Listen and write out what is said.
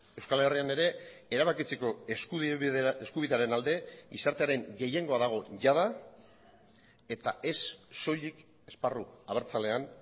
euskal herrian ere erabakitzeko eskubidearen alde gizartearen gehiengoa dago jada eta ez soilik esparru abertzalean